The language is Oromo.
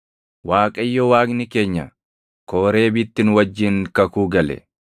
Waaqayyo Waaqni keenya Kooreebitti nu wajjin kakuu gale.